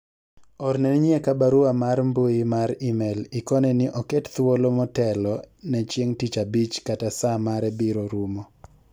orne nyieka barua mar mbui mar email ikone ni oket thuolo motelo ne chieng' tich abich kata saa mare biro rumo